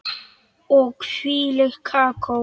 Og hvílíkt kakó.